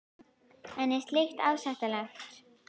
En er slíkt ásættanlegt?